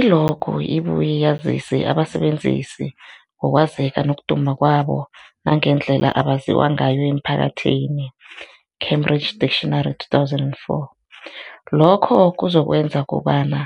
I-logo ibuye yazise abasebenzisi ngokwazeka nokuduma kwabo nangendlela abaziwa ngayo emphakathini, Cambridge Dictionary 2024. Lokho kuzokwenza kobana